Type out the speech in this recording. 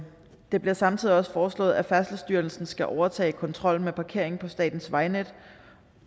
det bliver samtidig også foreslået at færdselsstyrelsen skal overtage kontrollen med parkering på statens vejnet